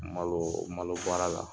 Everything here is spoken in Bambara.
Malo malo baara la